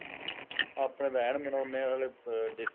ਆਪਣੇ ਤਾਂ ਐੰਨ ਮਨਾਉਦੇ ਹੈ ਨਾਲੇ